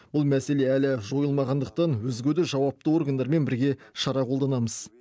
бұл мәселе әлі жойылмағандықтан өзге де жауапты органдармен бірге шара қолданамыз